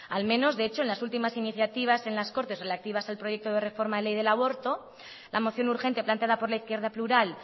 al menos de hecho en las últimas iniciativas en las cortes relativas al proyecto de reforma de ley del aborto la moción urgente planteada por la izquierda plural